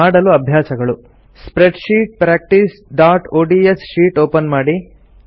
ಮಾಡಲು ಅಭ್ಯಾಸಗಳು ಸ್ಪ್ರೆಡ್ಶೀಟ್ practiceಒಡಿಎಸ್ ಶೀಟ್ ಓಪನ್ ಮಾಡಿ